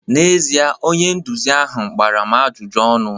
N'ezie, onye nduzi ahụ gbara m ajụjụ ọnụ